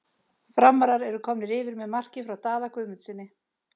Framarar eru komnir yfir með marki frá Daða Guðmundssyni!!